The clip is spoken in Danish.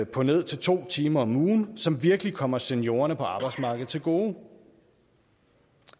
på ned til to timer om ugen som virkelig kommer seniorerne på arbejdsmarkedet til gode